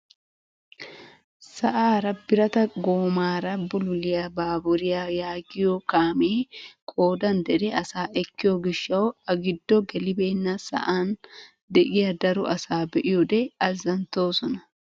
Sa'aara birata goomaara bululiyaa baaburiyaa yaagiyoo kaamee qoodan dere asaa ekkiyoo giishshawu a giddo gelibenna sa'an de'iyaa daro asaa be'iyoode azanttoosona.